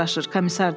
komissar dedi.